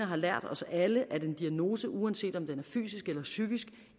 har lært os alle at en diagnose uanset om den er fysisk eller psykisk